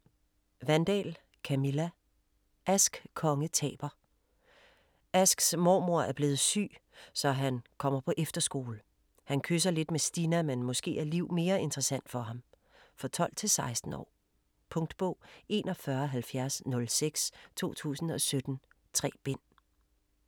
Wandahl, Camilla: Ask konge taber Asks mormor er blevet syg, så han kommer på efterskole. Han kysser lidt med Stinna, men måske er Liv mere interessant for ham. For 12-16 år. Punktbog 417006 2017. 3 bind.